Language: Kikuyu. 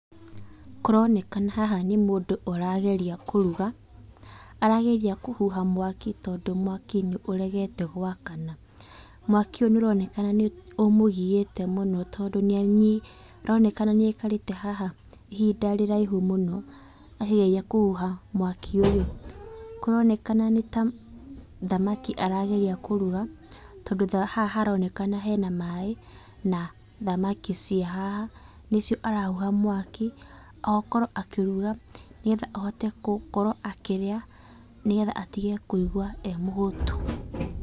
Kũronekana haha nĩ mũndũ ũrageria kũruga. Arageria kũhuha mwaki tondũ mwaki nĩũregete gwakana. Mwaki ũyũ nĩũronekana nĩũmũgiĩte mũno tondũ nĩanyi, ũronekana nĩaikarĩte haha ihinda rĩraihu mũno, akĩgeria kũhuha mwaki ũyũ. Kũronekana nĩ ta thamaki arageria kũruga, tondũ ta haha haronekana hena maĩ na thamaki ciĩ haha nĩcio arahuha mwaki, okorwo akĩruga nĩgetha ahote gũkorwo akĩrĩa, nĩgetha atige kũigua e mũhũtu.